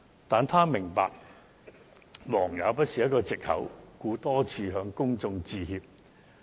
但是，她也明白忙也不是一個藉口，故此多次向公眾致歉。